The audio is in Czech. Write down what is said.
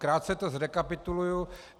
Krátce to zrekapituluji.